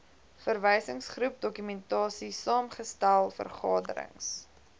verwysingsgroep dokumentasiesaamgestel vergaderings